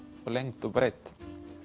og lengd og breidd